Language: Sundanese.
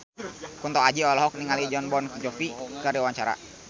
Kunto Aji olohok ningali Jon Bon Jovi keur diwawancara